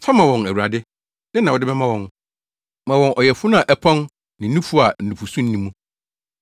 Fa ma wɔn, Awurade, dɛn na wode bɛma wɔn? Ma wɔn ɔyafunu a ɛpɔn ne nufu a nufusu nni mu.